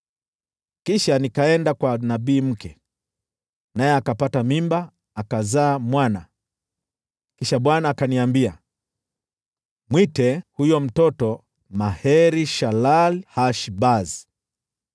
Kisha nikaenda kwa nabii mke, naye akapata mimba, akazaa mwana. Kisha Bwana akaniambia, “Mwite huyo mtoto Maher-Shalal-Hash-Bazi.